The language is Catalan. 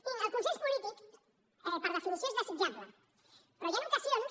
mirin el consens polític per definició és desitjable però hi han ocasions